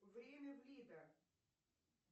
время в лида